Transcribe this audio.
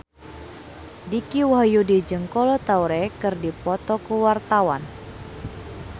Dicky Wahyudi jeung Kolo Taure keur dipoto ku wartawan